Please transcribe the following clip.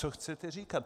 Co chcete říkat?